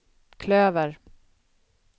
klöver